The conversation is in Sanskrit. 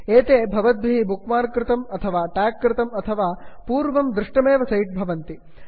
एते भवद्भिः बुक् मार्क् कृतं अथवा ट्याग् कृतं अथवा पूर्वं दृष्टमेव सैट् भवन्ति